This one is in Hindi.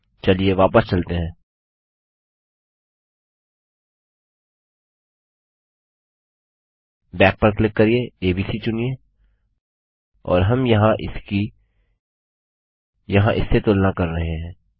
चलिए वापस चलते हैं बैक पर क्लिक करिये एबीसी चुनिए और हम यहाँ इसकी यहाँ इससे तुलना कर रहे हैं